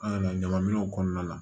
An ka ɲaman minɛnw kɔnɔna la